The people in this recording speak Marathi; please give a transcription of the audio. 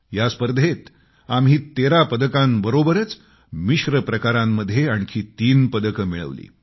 या स्पर्धेत आम्ही 13 पदकांशिवाय मिक्स प्रकारांमध्ये आणखी तीन पदके मिळवली